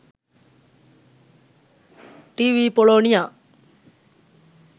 tv polonia